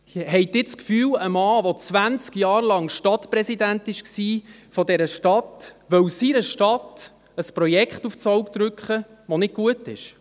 Haben Sie das Gefühl, ein Mann, der zwanzig Jahre lang Stadtpräsident von dieser Stadt war, wolle seiner Stadt ein Projekt aufs Auge drücken, das nicht gut ist?